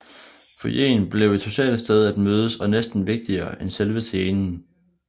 Foyeren blev et socialt sted at mødes og næsten vigtigere end selve scenen